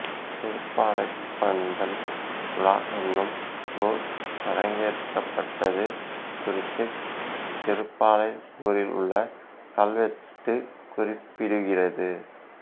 திருப்பாலைப்பந்தல் உலா என்னும் நூல் அரங்கேற்றப்பட்டது குறித்துத் திருப்பாலை ஊரில் உள்ள கல்வெட்டு குறிப்பிடுகிறது